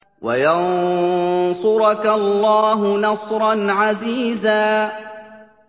وَيَنصُرَكَ اللَّهُ نَصْرًا عَزِيزًا